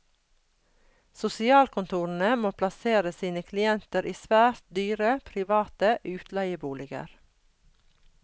Sosialkontorene må plassere sine klienter i svært dyre private utleieboliger.